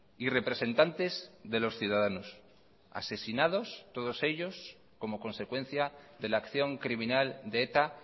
y representantes de los ciudadanos asesinados todos ellos como consecuencia de la acción criminal de eta